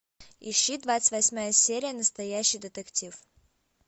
ищи двадцать восьмая серия настоящий детектив